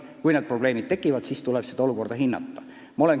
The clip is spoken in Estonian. Kui need probleemid tekivad, siis tuleb olukorda hinnata.